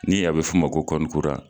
Ni a be f'o ma ko kɔnti kura